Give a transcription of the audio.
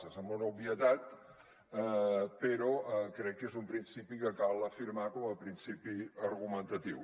sembla una obvietat però crec que és un principi que cal afirmar com a principi argumentatiu